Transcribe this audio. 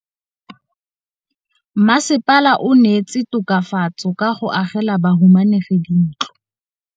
Mmasepala o neetse tokafatsô ka go agela bahumanegi dintlo.